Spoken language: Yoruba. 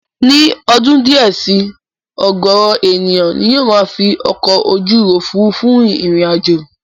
Ní ọdún díẹ̀ si, ọ̀gọ̀ọ̀rọ̀ ènìyàn ni yóò máa fi ọkọ̀ ojú òfurufú rin ìrìn àjò